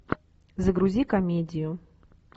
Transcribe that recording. загрузи комедию